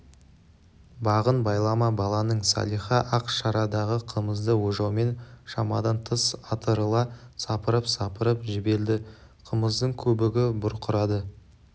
бағын байлама баланың салиха ақ шарадағы қымызды ожаумен шамадан тыс атырыла сапырып-сапырып жіберді қымыздың көбігі бұрқырады